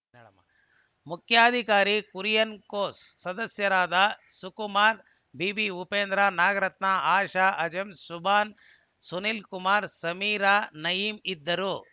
ಮುಖ್ಯಾಧಿಕಾರಿ ಕುರಿಯಾ ಕೋಸ್‌ ಸದಸ್ಯರಾದ ಸುಕುಮಾರ್ ಬಿವಿ ಉಪೇಂದ್ರ ನಾಗರತ್ನ ಆಶಾ ಅಂಜುಂ ಸುಭಾನ್‌ ಸುನೀಲ್‌ಕುಮಾರ್ ಸಮೀರಾ ನಯೀಂ ಇದ್ದರು